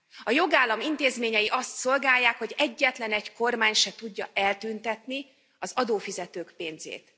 A jogállam intézményei azt szolgálják, hogy egyetlenegy kormány se tudja eltüntetni az adófizetők pénzét.